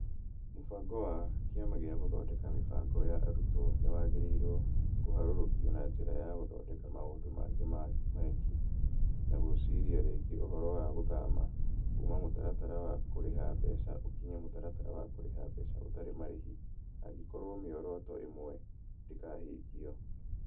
Mũbango wa , Kĩama gĩa Gũthondeka Mĩbango ya Arutwo nĩ wagĩrĩirwo kũharũrũkio na njĩra ya gũthondeka maũndũ mangĩ mangĩ, na gũciria rĩngĩ ũhoro wa gũthama kuuma mũtaratara wa kũrĩha mbeca ũkinye mũtaratara wa kũrĩha mbeca ũtarĩ marĩhi angĩkorũo mĩoroto ĩmwe ndĩkahingio.